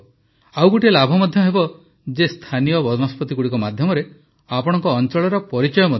ଗୋଟିଏ ଲାଭ ଏହା ମଧ୍ୟ ହେବ ଯେ ସ୍ଥାନୀୟ ବନସ୍ପତିଗୁଡ଼ିକ ମାଧ୍ୟମରେ ଆପଣଙ୍କ ଅଞ୍ଚଳର ପରିଚୟ ମଧ୍ୟ ବଢ଼ିବ